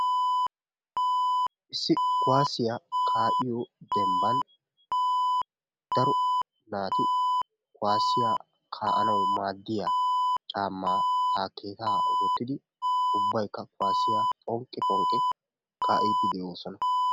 Issi kuwaasiya kaa'iyo dembban daro naati kuwaasiya kaa'anawu maaddiya caammaa takkeetaa wottidi ubbaykka kuwaasiya phonqqi phonqqi kaa'iiddi de'oosona.